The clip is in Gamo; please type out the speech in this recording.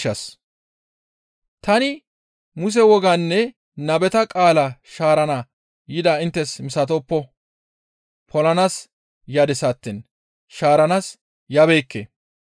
«Tani Muse wogaanne nabeta qaalaa shaarana yidaa inttes misatoppo; polanaas yadis attiin shaaranaas yabeekke.